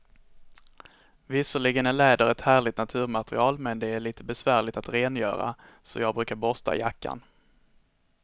Visserligen är läder ett härligt naturmaterial, men det är lite besvärligt att rengöra, så jag brukar borsta jackan.